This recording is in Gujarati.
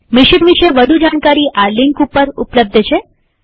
મિશન વિષે વધુ જાણકારી આ લિંક ઉપર ઉપલબ્ધ છે